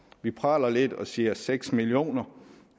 vi praler lidt og siger seks millioner